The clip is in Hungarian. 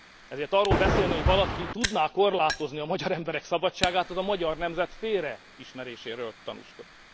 Ezért arról beszélni, hogy valaki tudná korlátozni a magyar emberek szabadságát az a magyar nemzet félreismeréséről tanúskodik.